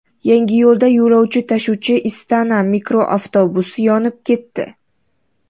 Yangiyo‘lda yo‘lovchi tashuvchi Istana mikroavtobusi yonib ketdi.